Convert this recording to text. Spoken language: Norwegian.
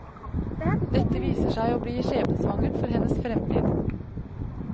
Dette viser seg å bli skjebnesvangert for hennes fremtid.